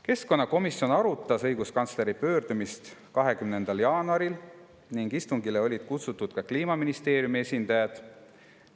Keskkonnakomisjon arutas õiguskantsleri pöördumist 20. jaanuaril ning istungile olid kutsutud ka Kliimaministeeriumi esindajad.